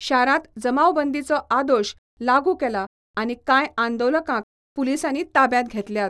शारांत जमावबंदीचो आदेश लागू केला आनी कांय आंदोलकांक पुलिसांनी ताब्यांत घेतल्यात.